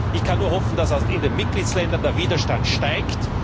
Ich kann nur hoffen, dass in den Mitgliedstaaten der Widerstand steigt.